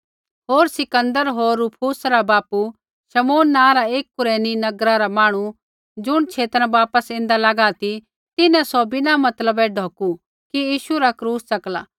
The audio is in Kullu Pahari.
होर सिकंदर होर रुफुस रा बापू शमौन नाँ रा एक कुरेनी नगरा रा मांहणु ज़ुण छेता न बापिस ऐन्दा लागा ती तिन्हैं सौ बिना मतलबै ढौकू कि यीशु रा क्रूस च़कला